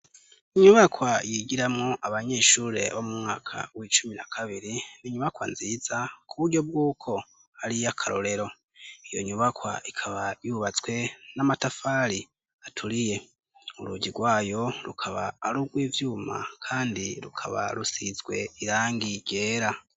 Inyubakwa yigiramwo abanyeshure bo mu mwaka w'icumi na kabiri, n'inyubakwa nziza, k'uburyo bw'uko ari iy'akarorero, iyo nyubakwa ikaba yubatswe n'amatafari aturiye, urugi rwayo, rukaba arugw'ivyuma kandi rukaba rusizwe irangi ryera.